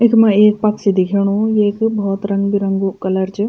इख्मा एक पक्षी दिखेणु येक भोत रंग बिरंगु कलर च।